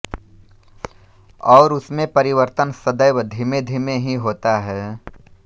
और उसमें परिवर्तन सदैव धीमेधीमे ही होता है